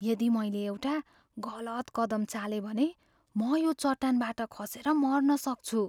यदि मैले एउटा गलत कदम चालेँ भने, म यो चट्टानबाट खसेर मर्न सक्छु।